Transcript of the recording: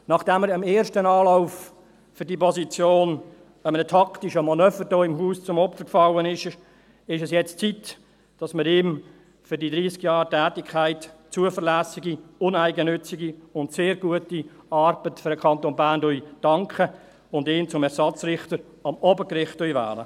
Nachdem er im ersten Anlauf für diese Position einem taktischen Manöver hier im Haus zum Opfer fiel, ist es jetzt an der Zeit, dass wir ihm für die 30 Jahre Tätigkeit – zuverlässige, uneigennützige und sehr gute Arbeit für den Kanton Bern – danken und ihn als Ersatzrichter ans Obergericht wählen.